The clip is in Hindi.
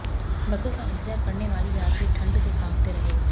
बसों का इंतजार करने वाले यात्री ठंड से कांपते रहे